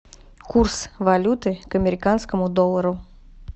курс валюты к американскому доллару